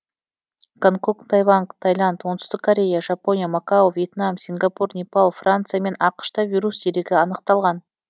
гонконг тайвань тайланд оңтүстік корея жапония макао вьетнам сингапур непал франция мен ақш та вирус дерегі анықталған